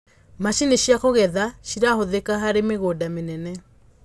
macinĩ cia kugetha cirahuthika harĩ mĩgũnda minene